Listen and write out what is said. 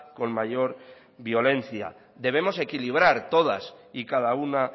con mayor violencia debemos equilibrar todas y cada una